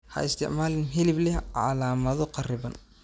Ha isticmaalin hilib leh calaamado kharriban.